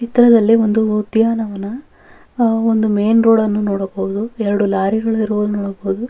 ಸುತ್ತವೂ ಗಿಡ ಮರಗಳು ಹಾಗು ಮನೆಗಳಿವೆ ಬಿಳಿಯ ಮನೆ ಹಾಗೂ ದೊಡ್ಡ ದೊಡ್ಡ ಮನೆಗಳನ್ನು ನೋಡಬಹುದು.